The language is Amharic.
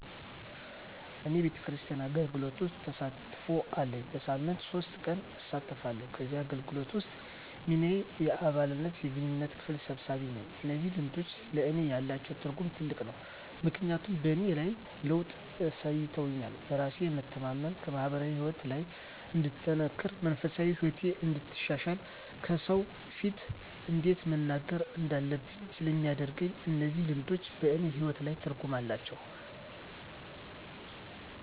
እኔ ቤተክርስቲያን አገልግሎት ውስጥ ተሳትፎ አለኝ። በሳምንት ሶስት ቀን እሳተፋለሁ ከዚህ አገልግሎት ውስጥ ሚናየ የአባላት የግንኙነት ክፍል ሰብሳቢ ነኝ። እነዚህ ልምዶች ለእኔ ያላቸው ትርጉም ትልቅ ነው ምክንያቱም በእኔ ላይ ለውጥ አሳይቶኛል በራስ የመተማመን፣ በማህበራዊ ህይወቴ ላይ እንድጠነክር፣ መንፈሳዊ ህይወቴን እንዳሻሽል፣ ከሰው ፊት እንዴት መናገር እንዳለብኝ ስለሚያደርገኝ እነዚህ ልምዶች በእኔ ህይወት ላይ ትርጉም አላቸው።